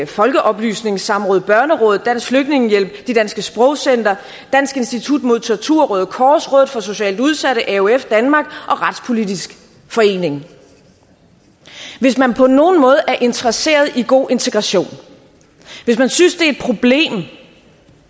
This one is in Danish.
folkeoplysnings samråd børnerådet dansk flygtningehjælp de danske sprogcentre dansk institut mod tortur røde kors rådet for socialt udsatte aof danmark og retspolitisk forening hvis man på nogen måde er interesseret i god integration hvis man synes